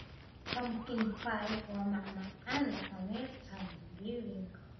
Pumpkin pie waa macmacaan dhaqameed Thanksgiving.